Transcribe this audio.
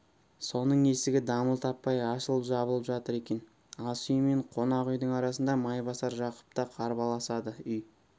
соның есігі дамыл таппай ашылып-жабылып жатыр екен асүй мен қонақүйдің арасында майбасар жақып та қарбаласады үй